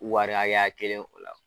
Wari hakɛya kelen o la.